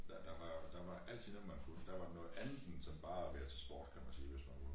Ja der var der var altid noget man kunne der var noget andet end sådan bare at være til sport kan man sige hvis man vil